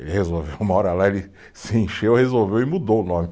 Ele resolveu uma hora lá, ele se encheu, resolveu e mudou o nome.